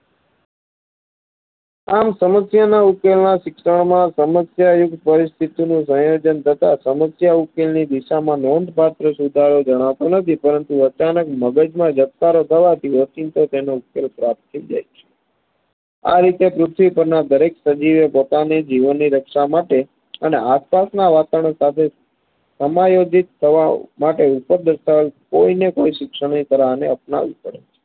આરીતે પૃથ્વી પરના દરેક સજીવો પોતાની જીવનની રક્ષામાટે અને આસપાસના વાતાવરણ સાથે માટે ઉપર દરસાવેલ કોઈને કોઈ શિક્ષણે આપનાવી પડે